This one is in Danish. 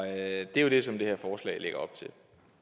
er jo det som det her forslag lægger op til